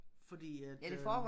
Fordi at øh